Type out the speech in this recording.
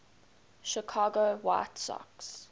chicago white sox